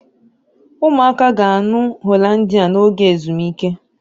Ụmụaka ga-aṅụ Hollandia n'oge ezumike